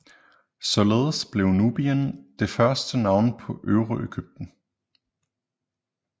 Således blev Nubien det første navn på Øvre Egypten